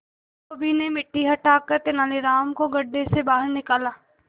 धोबी ने मिट्टी हटाकर तेनालीराम को गड्ढे से बाहर निकाला